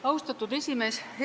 Austatud esimees!